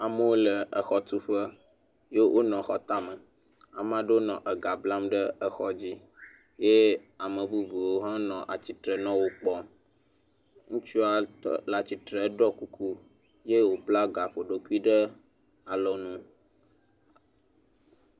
Amewo le exɔtuƒe ye wonɔ xɔ tame. Ame aɖewo nɔ ega blam ɖe exɔa dzi ye ame bubuwo hã nɔ atsitre nɔ wo kpɔm. Ŋutsua le atsitre ɖɔ kuku ye wobla gaƒoɖokui ɖe alɔnu.